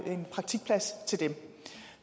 er en praktikplads til dem